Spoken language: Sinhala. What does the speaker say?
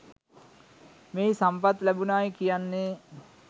මෙහි සම්පත් ලැබුනායි කියන්නේ